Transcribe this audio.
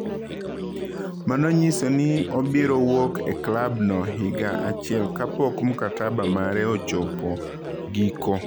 Mano nyiso ni obiro wuok e klab no higa achiel ka pok mkataba mare ochopo giko.